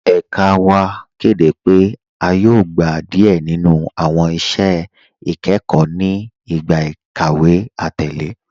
Ẹ̀kà wa kẹdẹ pe a yóò gbà díẹ ninu awọn iṣẹ̀ ikẹkọ ni igbá ikàwé atẹlẹ.